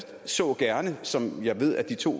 så gerne som jeg ved at de to